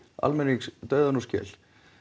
almennings dauðann úr skel